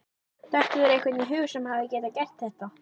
Dettur þér einhver í hug sem hefði getað gert þetta?